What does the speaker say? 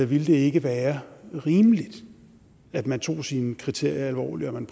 ville det ikke være rimeligt at man tog sine kriterier alvorligt og at man